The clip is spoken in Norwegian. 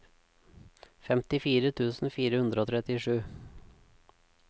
femtifire tusen fire hundre og trettisju